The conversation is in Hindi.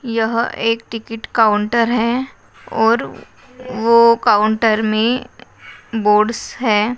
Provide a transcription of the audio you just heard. यह एक तिकीट काउंटर है और वो काउंटर मे बोर्ड्स है।